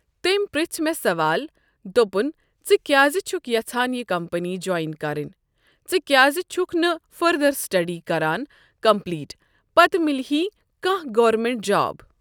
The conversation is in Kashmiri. تٔمۍ پرٛژھ مےٚ سوال دوٚپُن ژٕ کیازِ چھکھ یَژھان یہِ کَمپٔنی جویِن کَرٕنۍ۔ ژٕ کیازِ چُھکھ نہٕ فٔردر سِٹڈی کران کَمپٕلیٖٹ پَتہٕ مِلۍ ہی کانٛہہ گورمینٹ جاب۔